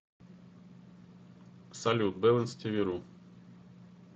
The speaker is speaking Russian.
салют бэлэнс ти ви ру